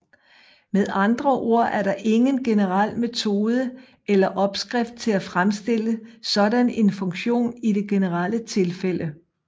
Med andre ord er der ingen generel metode eller opskrift til at fremstille sådan en funktion i det generelle tilfælde